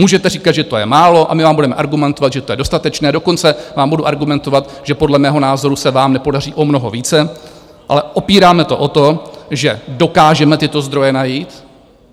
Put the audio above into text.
Můžete říkat, že to je málo, a my vám budeme argumentovat, že to je dostatečné, dokonce vám budu argumentovat, že podle mého názoru se vám nepodaří o mnoho více, ale opíráme to o to, že dokážeme tyto zdroje najít.